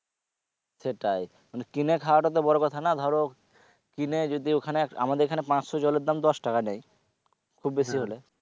সেটাই মানে কিনে খাওয়াটা তো বড়ো কথা না ধরো কিনে যদি ওখানে, আমাদের এখানে পাঁচশো জলের দাম দশ টাকা নেয় খুব বেশি হলে